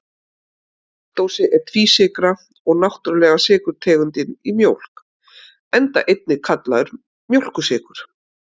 Laktósi er tvísykra og náttúrulega sykurtegundin í mjólk, enda einnig kallaður mjólkursykur.